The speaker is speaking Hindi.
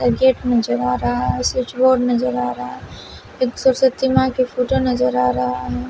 एक गेट नजर आ रहा है स्विच बोर्ड नजर आ रहा है एक सरस्वती माँ का फोटो नजर आ रहा है।